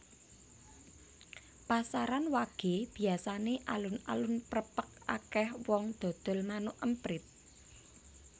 Pasaran wage biasane alun alun prepek akeh wong dodol manuk emprit